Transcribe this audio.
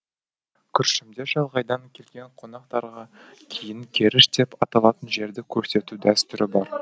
күршімде шалғайдан келген қонақтарға киін керіш деп аталатын жерді көрсету дәстүрі бар